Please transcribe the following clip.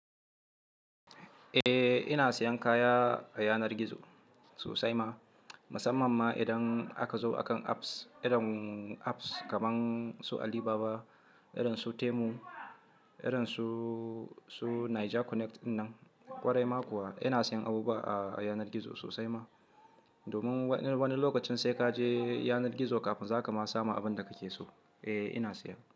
Eh ina siyan kaya a yanar gizo sosai ma, musamman ma idan aka zo akan apps irin apps kamar su Alibaba, irin su Temu, irin su, su Niger Connect dinnan. Kwarai ma kuwa ina siyan abubuwa a yanar gizo sosai ma. Domin wani lokacin sai kaje yanar gizo kafin za ka ma samu abin da kake so. Eh ina siya.